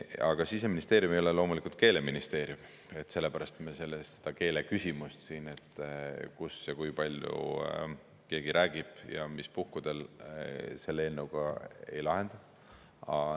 Aga Siseministeerium ei ole loomulikult keeleministeerium, sellepärast me seda keeleküsimust, et kus ja kui palju keegi räägib ja mis puhkudel, selle eelnõuga ei lahenda.